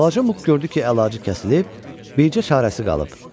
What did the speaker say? Balaca Muk gördü ki, əlacı kəsilib, bircə çarəsi qalıb.